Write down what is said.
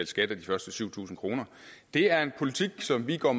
skat af de første syv tusind kroner det er en politik som vi går